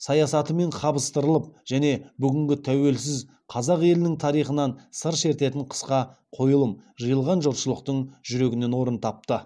саясатымен қабыстырылып және бүгінгі тәуелсіз қазақ елінің тарихынан сыр шертетін қысқа қойылым жиылған жұртшылықтың жүрегінен орын тапты